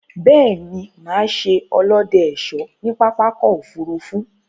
Béè ni, mà se olóde/ésó ní pápákò òfurufú